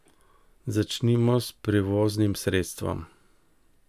Začnimo s prevoznim sredstvom.